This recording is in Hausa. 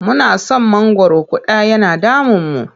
Muna san mangwaro ƙuda yana damunmu.